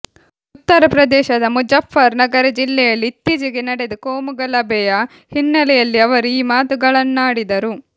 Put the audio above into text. ಉತ್ತರ ಪ್ರದೇಶದ ಮುಜಫ್ಫರ್ ನಗರ ಜಿಲ್ಲೆಯಲ್ಲಿ ಇತ್ತೀಚೆಗೆ ನಡೆದ ಕೋಮುಗಲಭೆಯ ಹಿನ್ನೆಲೆಯಲ್ಲಿ ಅವರು ಈ ಮಾತುಗಳನ್ನಾಡಿದರು